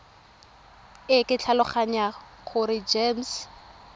e ke tlhaloganya gore gems